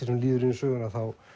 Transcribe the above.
sem líður á söguna